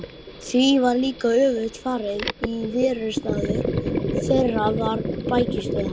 Því var líka öfugt farið: íverustaður þeirra var bækistöð hans.